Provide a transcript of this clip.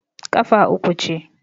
kafa uku ce